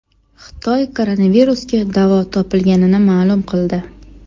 Xitoy koronavirusga davo topilganini ma’lum qildi.